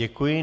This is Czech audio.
Děkuji.